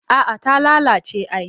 A'a ta lalace ai